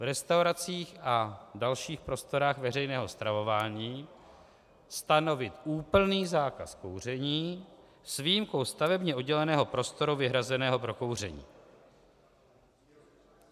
V restauracích a dalších prostorách veřejného stravování stanovit úplný zákaz kouření s výjimkou stavebně odděleného prostoru vyhrazeného pro kouření.